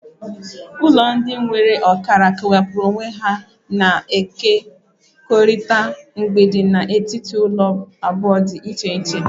Ụlọ ndị nwere ọkara kewapụrụ onwe ha na-ekekọrịta mgbidi na etiti ụlọ abụọ dị iche iche.